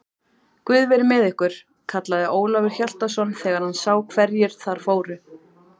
Guð veri með ykkur, kallaði Ólafur Hjaltason þegar hann sá hverjir þar fóru.